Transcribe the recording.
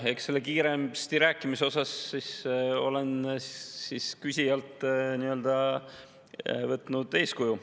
Eks selle kiiresti rääkimise osas olen võtnud eeskuju küsijalt.